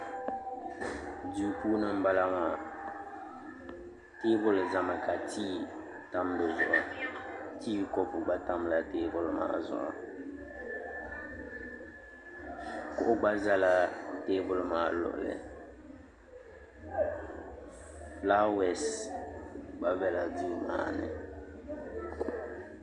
duu puuni n bala maa teebuli ʒɛmi ka tii tam dizuɣu tii kɔpu gba tamla teebuli maa zuɣu kuɣu gba ʒɛla teebuli maa luɣuli fulaawɛs gba biɛla duu maa ni